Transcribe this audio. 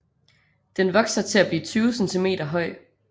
Den vokser til blive 20 cm høj